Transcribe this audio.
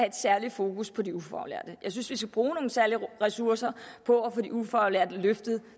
et særligt fokus på ufaglærte jeg synes vi skal bruge særlige ressourcer på at få de ufaglærte løftet